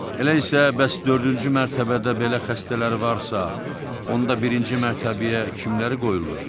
Elə isə bəs dördüncü mərtəbədə belə xəstələr varsa, onda birinci mərtəbəyə kimləri qoyurlar?